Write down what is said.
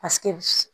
Paseke